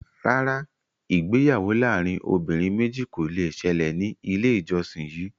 Rárá, ìgbéyàwó láàrin obìnrin méjì kò le ṣẹlẹ̀ ní ilé ìjósìn yìí